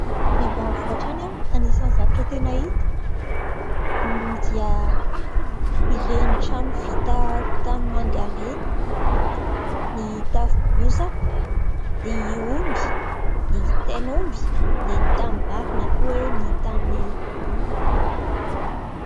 Any ambanivohitra any, anisany zavatra tena hita dia ireny trano vita tanimanga ireny, ny tafo bozaka , ny omby, ny tain'omby, dia ny tanimbary na koa hoe ny tanimboly.